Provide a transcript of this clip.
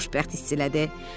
Özünü xoşbəxt hiss elədi.